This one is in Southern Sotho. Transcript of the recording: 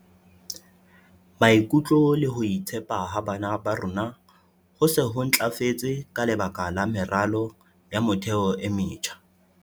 Maikutlo le ho itshepa ha bana ba rona ho se ho ntlafetse ka lebaka la meralo ya motheo e metjha.